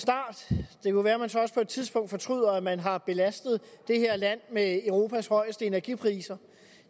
det er jo være man så også på et tidspunkt fortryder at man har belastet det her land med europas højeste energipriser